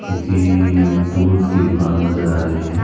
किसी टूल्स की दुकान नजर आ रही है।